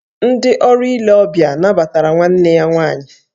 Ndị ọrụ ile ọbịa nabatara nwanne ya nwaanyị